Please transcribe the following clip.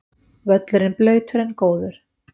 Völlurinn blautur en góður